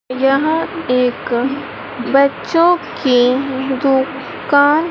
यह एक बच्चों की दुकान--